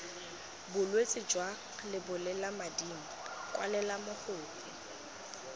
bolwetse jwa lebolelamading kwalela mogokgo